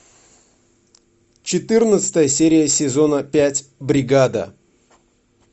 четырнадцатая серия сезона пять бригада